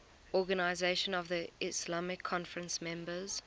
organisation of the islamic conference members